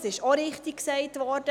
Das wurde richtigerweise erwähnt.